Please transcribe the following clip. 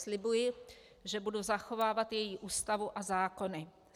Slibuji, že budu zachovávat její Ústavu a zákony.